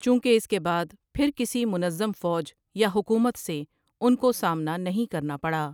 چونکہ اس کے بعد پھر کسی منظم فوج یا حکومت سے ان کو سامنا نہیں کرنا پڑا۔